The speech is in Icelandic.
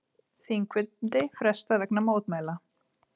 Þingfundi frestað vegna mótmæla